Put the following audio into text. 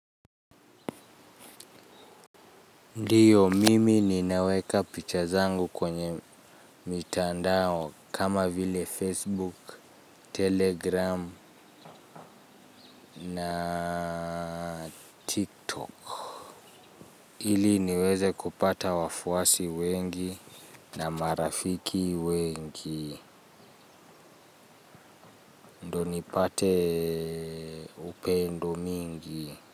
Ndiyo mimi ninaweka picha zangu kwenye mitandao kama vile facebook, telegram na tiktok ili niweze kupata wafuasi wengi na marafiki wengi ndio nipate upendo mingi.